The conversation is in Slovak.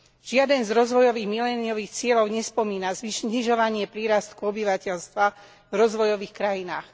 Žiaden z rozvojových miléniových cieľov nespomína znižovanie prírastku obyvateľstva v rozvojových krajinách.